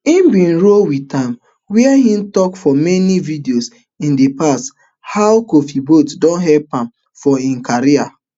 im bin roll wit am wia im tok for many videos in di past how kofi boat don help am for im career